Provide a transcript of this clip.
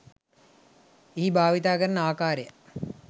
එහිභාවිතා කරන ආකාරය